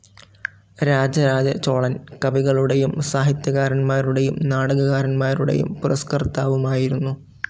രാജരാജചോളൻ കവികളുടെയും സാഹിത്യകാരന്മാരുടെയും നാടകകാരന്മാരുടെയും പുരസ്‌കർത്താവുമായിരുന്നു.